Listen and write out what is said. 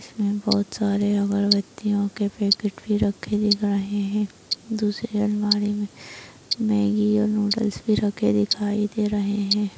इसमें बहुत सारे अगरबत्तियों के पैकेट भी रखे दिख रहे हैं दूसरी अलमारी में मैगी और नूडल्स भी रखे दिखाई दे रहे हैं।